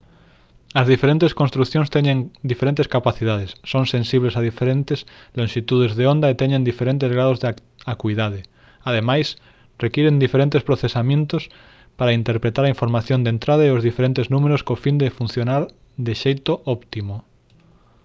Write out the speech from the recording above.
as diferentes construcións teñen diferentes capacidades son sensibles a diferentes lonxitudes de onda e teñen diferentes graos de acuidade ademais requiren diferentes procesamentos para interpretar a información de entrada e os diferentes números co fin de funcionar de xeito óptimo